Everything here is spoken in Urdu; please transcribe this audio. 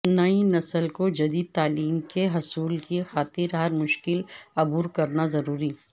نئی نسل کو جدید تعلیم کے حصول کی خاطر ہر مشکل عبور کرناضروری